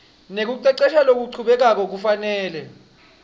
nekucecesha lokuchubekako kufanele